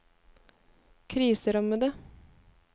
kriserammede